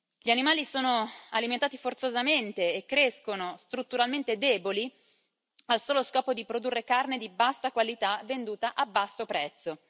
Gli animali sono alimentati forzosamente e crescono strutturalmente deboli, al solo scopo di produrre carne di bassa qualità venduta a basso prezzo.